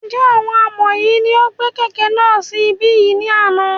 Njẹ àwọn ọmọ yìí ní ó gbé kẹ́kẹ̀ náà sì ibí yìí ní àna?